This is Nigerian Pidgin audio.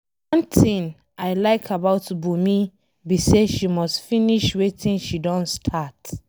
One thing I like about Bunmi be say she must finish wetin she don start.